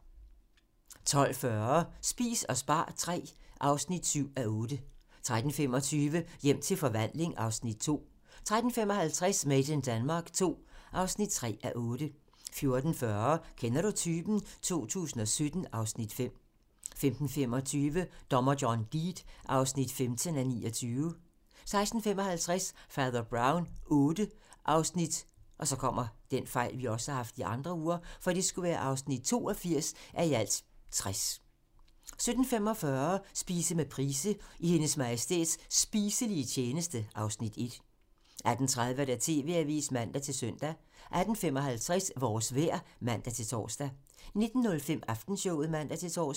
12:40: Spis og spar III (7:8) 13:25: Hjem til forvandling (Afs. 2) 13:55: Made in Denmark II (3:8) 14:40: Kender du typen? 2017 (Afs. 5) 15:25: Dommer John Deed (15:29) 16:55: Fader Brown VIII (82:60) 17:45: Spise med Price - I Hendes Majestæts spiselige tjeneste (Afs. 1) 18:30: TV-avisen (man-søn) 18:55: Vores vejr (man-tor) 19:05: Aftenshowet (man-tor)